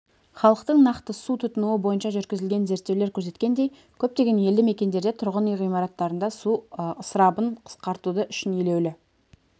халықтың нақты су тұтынуы бойынша жүргізілген зерттеулер көрсеткендей көптеген елді мекендерде тұрғын үй ғимараттарында су ысырабын қысқартуды үшін елеулі